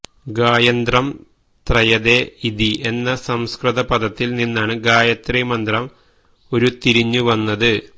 ഗായന്ത്രം ത്രയതേ ഇതി എന്ന സംസ്കൃത പദത്തില് നിന്നാണ് ഗായത്രീ മന്ത്രം ഉരുത്തിരിഞ്ഞു വന്നത്